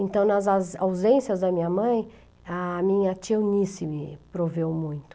Então, nas aus ausências da minha mãe, a minha tia Eunice me proveu muito.